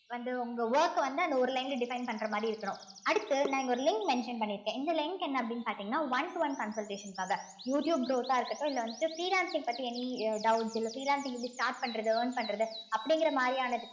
வந்து உங்க work அ வந்து அந்த ஒரு line ல define பண்ற மாதிரி இருக்கணும் அடுத்து நான் இங்க ஒரு link mention பண்ணிருக்கேன் இந்த link என்ன அப்படின்னு பார்த்தீங்கன்னா one to one consultation க்காக யூ டியூப் growth ஆ இருக்கட்டும் இல்ல வந்துட்டு freelancing பத்தி any அ doubt உ இல்ல freelancing எப்படி start பண்றது earn பண்றது அப்படிங்கிற மாதிரியானதுக்கு